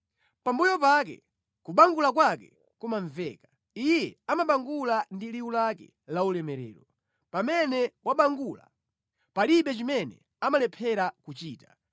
Pambuyo pake kubangula kwake kumamveka. Iye amabangula ndi liwu lake laulemerero. Pamene wabangula, palibe chimene amalephera kuchita.